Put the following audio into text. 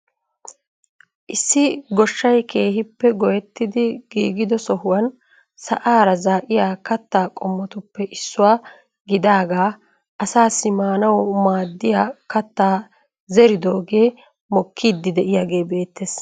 issi gooshshay keehippe goyettidi giigido sohuwaan sa'aara zaa'iyaa kaattaa qommotuppe issuwaa gidaagaa asaassi maanawu maaddiyaa kaattaa zeridoogee mokkiidi de'iyaagee beettees.